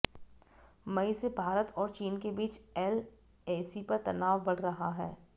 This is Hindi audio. मई से भारत और चीन के बीच एलएसी पर तनाव बढ़ रहा है